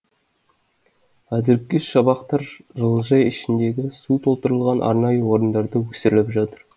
әзірге шабақтар жылыжай ішіндегі су толтырылған арнайы орындарда өсіріліп жатыр